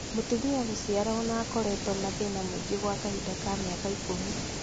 mũtumia gũciara ona akoretwo na thĩna mũingĩ gwa kahinda ka mĩaka ikũmi